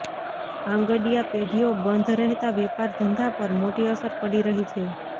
આંગડિયા પેઢીઓ બંધ રહેતાં વેપાર ધંધા પર મોટી અસર પડી રહી છે